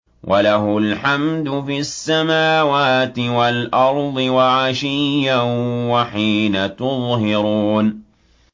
وَلَهُ الْحَمْدُ فِي السَّمَاوَاتِ وَالْأَرْضِ وَعَشِيًّا وَحِينَ تُظْهِرُونَ